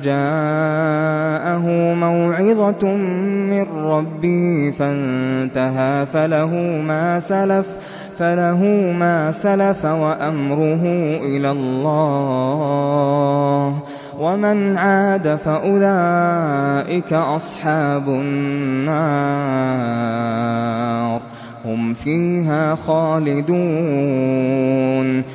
جَاءَهُ مَوْعِظَةٌ مِّن رَّبِّهِ فَانتَهَىٰ فَلَهُ مَا سَلَفَ وَأَمْرُهُ إِلَى اللَّهِ ۖ وَمَنْ عَادَ فَأُولَٰئِكَ أَصْحَابُ النَّارِ ۖ هُمْ فِيهَا خَالِدُونَ